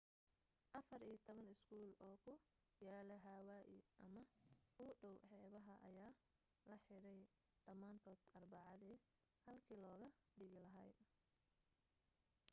afar iyo toban iskool oo ku yaala hawaii ama u dhaw xeebaha ayaa la xidhay dhamaantood arbacadii halkii looga digi lahaa